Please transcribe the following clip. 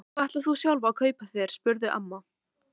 En hvað ætlar þú sjálf að kaupa þér? spurði amma.